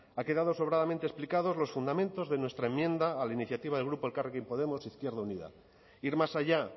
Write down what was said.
han quedado sobradamente explicados los fundamentos de nuestra enmienda a la iniciativa del grupo elkarrekin podemos izquierda unida ir más allá